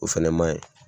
O fɛnɛ maɲi